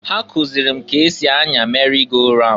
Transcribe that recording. Ha kụzịlị m k'esi anya meri go raun.